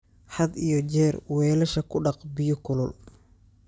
Had iyo jeer weelasha ku dhaq biyo kulul.